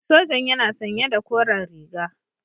Sojan yana sanye da koren riga.